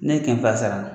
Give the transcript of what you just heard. Ne ye kɛmɛ fila sara